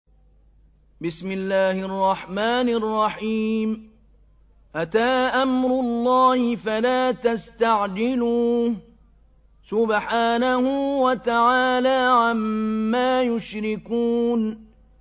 أَتَىٰ أَمْرُ اللَّهِ فَلَا تَسْتَعْجِلُوهُ ۚ سُبْحَانَهُ وَتَعَالَىٰ عَمَّا يُشْرِكُونَ